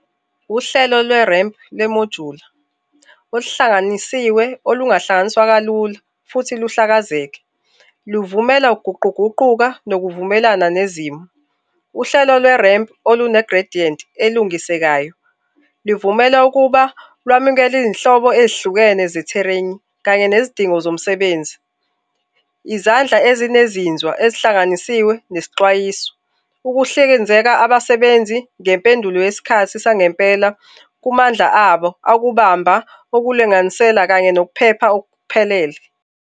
Uhlelo lwe-ramp, le mojuli oluhlanganisiwe olungahlanganiswa kalula futhi luhlakazeke luvumela ukuguquguquka nokuvumelana nezimo. Uhlelo lwe-ramp olune-gradient elungisekayo livumela ukuba lwamukele izinhlobo ezihlukene ze-terrain kanye nezidingo zomsebenzi. Izandla ezinezinzwa ezihlanganisiwe nesixwayiso, ukuhlikinzela abasebenzi ngempendulo yesikhathi sangempela kumandla abo akubamba okulinganiselwe kanye nokuphepha okuphelele.